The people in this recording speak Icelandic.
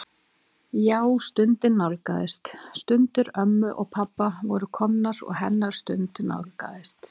Já, stundin nálgaðist, stundir ömmu og pabba voru komnar og hennar stund nálgaðist.